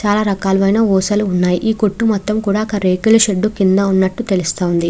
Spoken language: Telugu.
చాల రకాలు అయిన ఊసలు ఉన్నాయి. ఈ కొట్టు మొత్తం కూడా ఒక రేకుల షెడ్ కింద ఉన్నటు తెల్లుస్తుంది.